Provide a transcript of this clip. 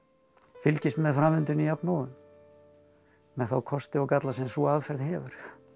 fylgist með framvindunni jafnóðum með þá kosti og galla sem sú aðferð hefur